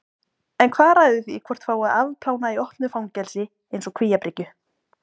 En hvað ræður því hvort fái að afplána í opnu fangelsi eins og Kvíabryggju?